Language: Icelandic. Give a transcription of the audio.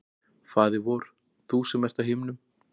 Faðir vor, þú sem ert á himnum,